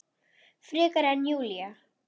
Frekar en Júlía.